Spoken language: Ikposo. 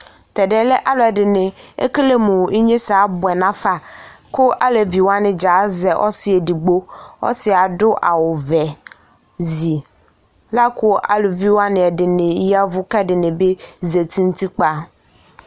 Alʋɛdɩnɩ, ekele mʋ inyesɛ abʋɛ nafa kʋ alevi wanɩ dza azɛ ɔsɩ edigbo Ɔsɩ yɛ adʋ awʋvɛ zi la kʋ aluvi wanɩ ɛdɩnɩ ya ɛvʋ kʋ ɛdɩnɩ bɩ zati nʋ utikpǝ